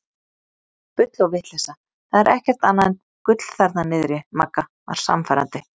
Bull og vitleysa það er ekkert annað en gull þarna niðri Magga var sannfærandi.